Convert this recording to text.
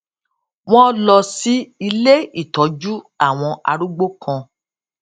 wón lọ sí ilé ìtójú àwọn arúgbó kan